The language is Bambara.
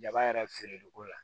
Jaba yɛrɛ feereliko la